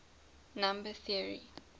number theory